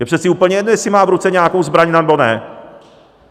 Je přece úplně jedno, jestli má v ruce nějakou zbraň, nebo ne!